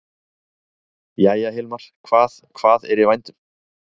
Jæja, Hilmar, hvað, hvað er í vændum?